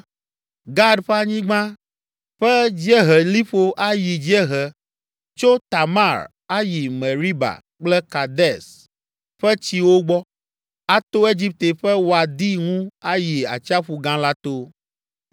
Gad ƒe anyigba ƒe dzieheliƒo ayi dziehe tso Tamar ayi Meriba kple Kades ƒe tsiwo gbɔ, ato Egipte ƒe Wadi ŋu ayi Atsiaƒu Gã la to.